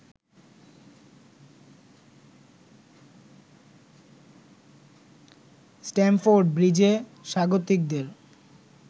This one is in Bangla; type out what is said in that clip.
স্ট্যামফোর্ড ব্রিজে স্বাগতিকদের